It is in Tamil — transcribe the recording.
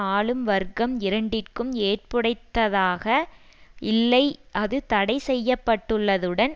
ஆளும்வர்க்கம் இரண்டிற்கும் ஏற்புடைத்ததாக இல்லை அது தடை செய்யப்பட்டுள்ளதுடன்